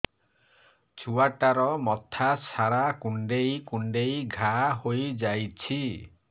ଛୁଆଟାର ମଥା ସାରା କୁଂଡେଇ କୁଂଡେଇ ଘାଆ ହୋଇ ଯାଇଛି